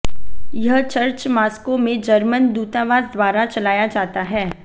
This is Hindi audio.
यह चर्च मास्को में जर्मन दूतावास द्वारा चलाया जाता है